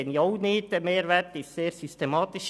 Dieser Mehrwert ist im Übrigen sehr systematisch.